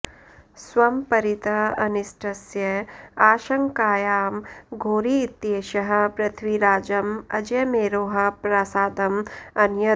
स्वं परितः अनिष्टस्य आशंकायां घोरी इत्येषः पृथ्वीराजम् अजयमेरोः प्रासादम् अनयत्